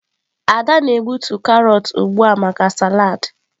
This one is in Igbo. Ada na-egbutu carrots ugbu a maka salad.